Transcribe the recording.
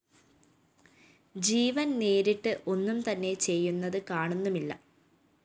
ജീവന്‍ നേരിട്ട് ഒന്നും തന്നെ ചെയ്യുന്നത് കാണുന്നുമില്ല